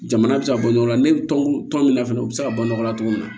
Jamana bɛ se ka bɔ ɲɔgɔn na ne bɛ tɔn tɔn min na fɛnɛ u bɛ se ka bɔ nɔgɔ la cogo min na